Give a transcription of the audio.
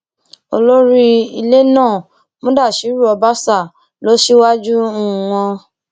olórí ilẹ náà mudashiru ọbásà lọ síwájú um wọn